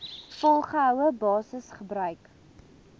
volgehoue basis gebruik